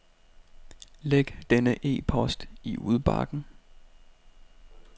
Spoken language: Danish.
Læg denne e-post i udbakken.